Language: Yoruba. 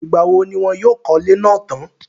ìgbà wo ni wọn yóò kọ́lé náà tán?